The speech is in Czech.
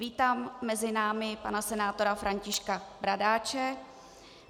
Vítám mezi námi pana senátora Františka Bradáče.